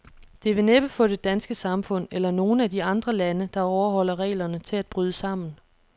Det vil næppe få det danske samfund, eller nogen af de andre lande, der overholder reglerne, til at bryde sammen.